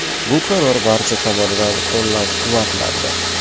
Bu qaror barcha tomonidan qo‘llab-quvvatlandi.